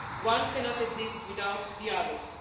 One cannot exist without the others.